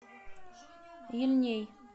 ельней